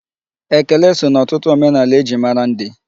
Ekele so na ọtụtụ omenaala e ji mara ndị.